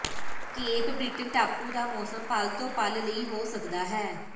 cape Breton ਟਾਪੂ ਦਾ ਮੌਸਮ ਪਲ ਤੋਂ ਪਲ ਲਈ ਹੋ ਸਕਦਾ ਹੈ